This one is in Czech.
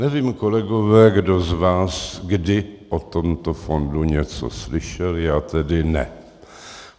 Nevím, kolegové, kdo z vás kdy o tomto fondu něco slyšel, já tedy ne.